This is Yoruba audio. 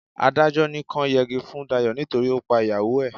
Adájọ́ ní kọ́ yẹgi fún Dayọ̀ nítorí ó pa ìyàwó ẹ̀.